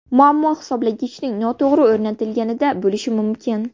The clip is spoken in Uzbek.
Muammo hisoblagichning noto‘g‘ri o‘rnatilganida bo‘lishi mumkin.